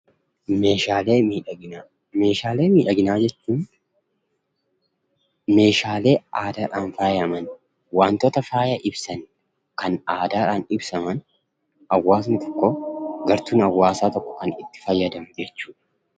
Meeshaalee miidhaginaa jechuun meeshaalee aadaadhaan faayama, wantoota faayaa ibsan, kan aadaadhaan ibsaman, gartuun hawaasaa tokko itti fayyadamu jechuudha.